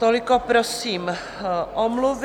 Toliko prosím omluvy.